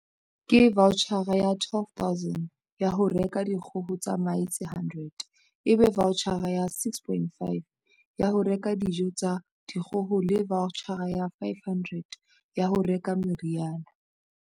Ke vaotjhara ya 12 000 ya ho reka dikgoho tsa mahe tse 100, ebe vaotjhara ya 6 500 ya ho reka dijo tsa dikgoho le vaotjhara ya 500 ya ho reka meriana.